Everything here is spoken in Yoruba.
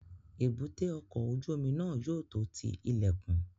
Èbúté ọkọ̀ ojú omi náà yóò tó ti ilẹ̀kùn